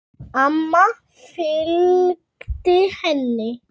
Amma fylgdi henni.